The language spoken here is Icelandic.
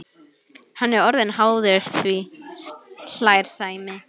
Hann er orðinn háður því, hlær Sæmi.